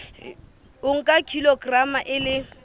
o nka kilograma e le